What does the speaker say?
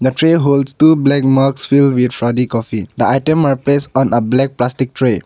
the tray holds two black mugs filled with fraddy coffee the item are placed on a black plastic tray.